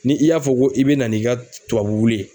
Ni i y'a fɔ ko i bɛ na n'i ka tubabu ye.